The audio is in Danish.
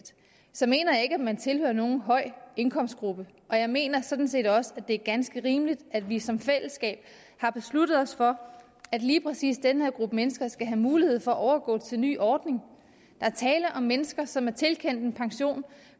så mener jeg ikke at man tilhører nogen høj indkomstgruppe jeg mener sådan set også det er ganske rimeligt at vi som fællesskab har besluttet os for at lige præcis den her gruppe mennesker skal have mulighed for at overgå til en ny ordning der er tale om mennesker som er tilkendt en pension